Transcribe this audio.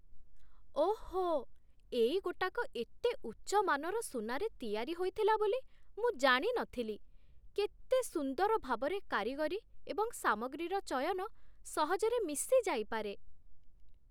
ଓଃ, ଏଇ ଗୋଟାକ ଏତେ ଉଚ୍ଚ ମାନର ସୁନାରେ ତିଆରି ହୋଇଥିଲା ବୋଲି ମୁଁ ଜାଣି ନଥିଲି! କେତେ ସୁନ୍ଦର ଭାବରେ କାରିଗରୀ ଏବଂ ସାମଗ୍ରୀର ଚୟନ ସହଜରେ ମିଶିଯାଇପାରେ!